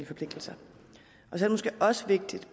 forpligtelser det er måske også vigtigt